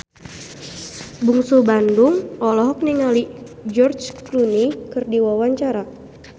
Bungsu Bandung olohok ningali George Clooney keur diwawancara